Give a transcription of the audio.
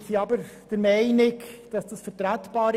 Wir sind aber der Meinung, diese seien vertretbar.